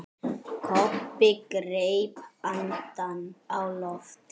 Kobbi greip andann á lofti.